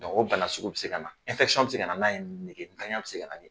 o bana sugu bɛ se ka na. bɛ se ka nan'a ye, negentanya bɛ se ka ni